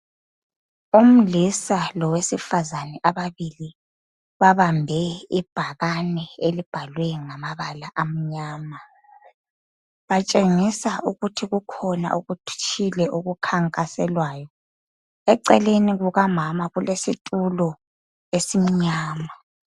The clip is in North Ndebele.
omlisa lowesifazane bobabili babambe ibhakane elibhalwe ngama bala amnyama batshengisa ukuthi kukhona okuthutshile okukhankaselwayo eceleni kuka mama kulesithulo esimnyama